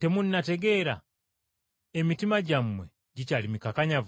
temunnategeera? Emitima gyammwe gikyali mikakanyavu?